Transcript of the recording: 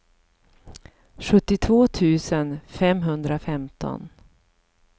sjuttiotvå tusen femhundrafemton